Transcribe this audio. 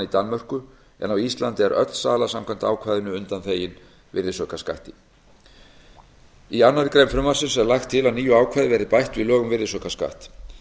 danmörku en á íslandi er öll sala samkvæmt ákvæðinu undanþegin virðisaukaskatti í annarri grein frumvarpsins er lagt til að nýju ákvæði verði bætt við lög um virðisaukaskatt